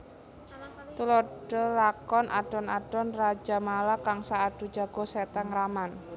Tuladha lakon Adon adon Rajamala Kangsa Adu Jago Seta Ngraman